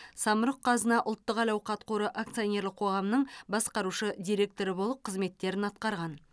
самұрық қазына ұлттық әл ауқат қоры акционерлік қоғамның басқарушы директоры болып қызметтерін атқарған